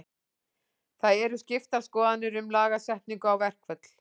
Það eru skiptar skoðanir um lagasetningu á verkföll.